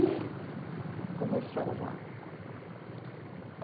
E começamos lá.